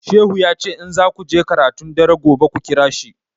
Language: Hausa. Shehu ya ce in zaku je karatun dare gobe ku ƙira shi